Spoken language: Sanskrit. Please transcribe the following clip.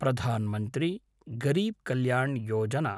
प्रधान् मन्त्री गरीब् कल्याण् योजना